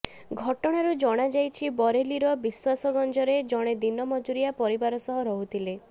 ଘଟଣାରୁ ଜଣାଯାଇଛି ବରେଲିର ବିଶ୍ବାସଗଂଜରେ ଜଣେ ଦିନ ମଜୁରିଆ ପରିବାର ସହ ରହୁଥିଲେ